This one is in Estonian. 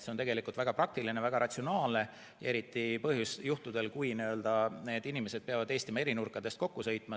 See on tegelikult väga praktiline ja väga ratsionaalne, eriti juhtudel, kui inimesed peavad Eestimaa eri nurkadest kokku sõitma.